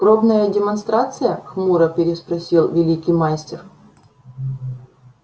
пробная демонстрация хмуро переспросил великий мастер